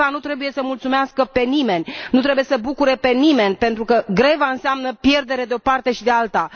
Greva nu trebuie să mulțumească pe nimeni, nu trebuie să bucure pe nimeni, pentru că greva înseamnă pierdere de o parte și de alta.